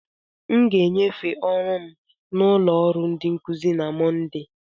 M ga-enyefee ọrụ m na ụlọ ọrụ ndi nkuzi na Mọnde.